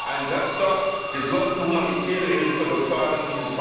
Einen Satz noch Wir sollten humanitäre Hilfe fördern.